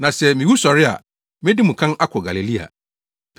Na sɛ miwu sɔre a, medi mo kan akɔ Galilea.”